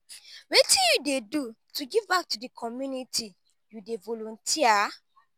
wetin you dey do to give back to di community you dey volunteer?